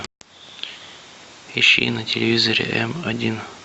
ищи на телевизоре м один